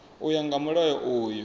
u ya nga mulayo uyu